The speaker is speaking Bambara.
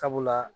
Sabula